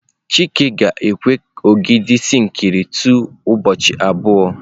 Chike ga-ekwe ka ogidi sinkịrị tọọ ụbọchị abụọ.